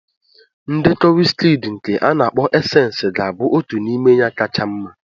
Ndekọ Wizkidii nke a na-akpo Esensi ga-abụ otu n'ime ya kacha mma.